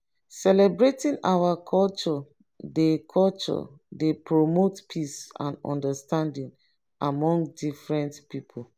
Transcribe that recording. celebrating our culture dey culture dey promote peace and understanding among different pipo.